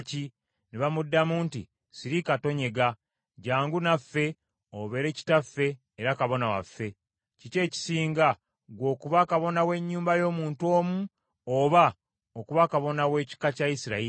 Ne bamuddamu nti, “Sirika tonyega. Jjangu naffe obeere kitaffe era kabona waffe. Kiki ekisinga, ggwe okuba kabona w’ennyumba y’omuntu omu, oba okuba kabona w’ekika kya Isirayiri?”